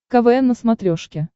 квн на смотрешке